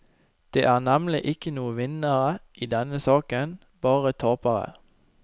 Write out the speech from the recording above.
Det er nemlig ikke noen vinnere i denne saken, bare tapere.